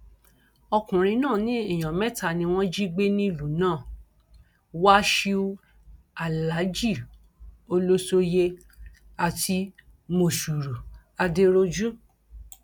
ọkùnrin náà ní èèyàn mẹta ni wọn jí gbé nílùú náà wáṣíù alhaji olosoye àti mòṣùrù adẹrọjú